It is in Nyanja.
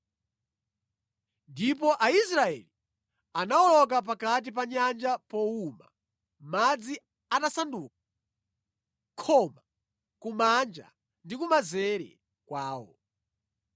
Ndipo Aisraeli anawoloka pakati pa nyanja powuma, madzi atasanduka khoma kumanja ndi kumanzere kwawo.